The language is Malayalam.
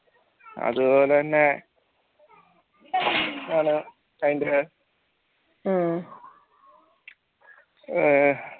അതുപോലെതന്നെ അഹ്